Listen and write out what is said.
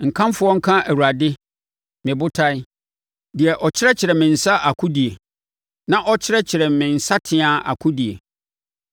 Nkamfoɔ nka Awurade, me Botan, deɛ ɔkyerɛkyerɛ me nsa akodie, na ɔkyerɛkyerɛ me nsateaa akodie.